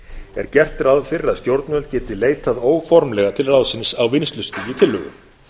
er gert ráð fyrir að stjórnvöld geti leitað óformlega til ráðsins á vinnslustigi tillögu